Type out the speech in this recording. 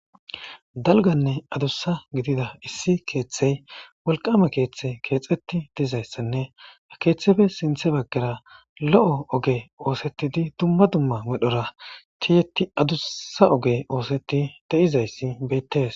Dalganne adussa gidida issi keeththey wolqama keeththe keexeti diizayssanne a keeththefe sinthe baggara lo'o oge oosettidi dumma dumma medhora ciyeti adussa oge oosetti de'izayssi bettees